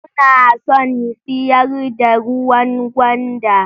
Suna son siyar da ruwan gwanda